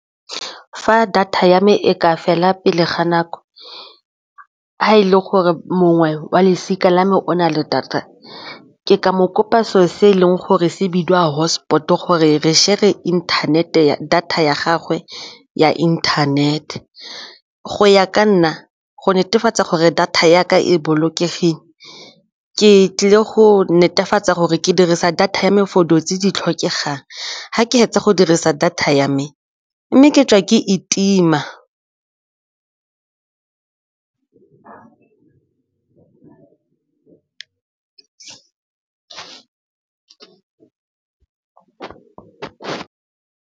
Fa data ya me e ka fela pele ga nako, ga e le gore mongwe wa losika la me o na le data ke ka moo kopa seo se e leng gore se bidiwa hotspot gore re share-re le inthanete data ya gagwe ya internet go ya ka nna go netefatsa gore data ya ka e bolokegileng ke tlile go netefatsa gore ke dirisa data ya tse di tlhokegang ga ke fetsa go dirisa data ya me mme ke tswa ke e tima.